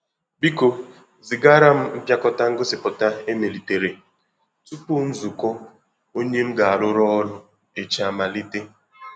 Biko zìgara m mpịakọta ngosipụta e melìtèrè, tupu nzukọ ònye m ga arụ rụ ọrụ echi amalite.